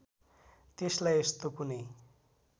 त्यसलाई यस्तो कुनै